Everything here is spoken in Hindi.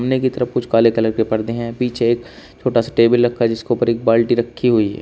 कि तरफ कुछ काले कलर के पर्दे हैं पीछे एक छोटा सा टेबल रखा है जिसके ऊपर एक बाल्टी रखी हुई है।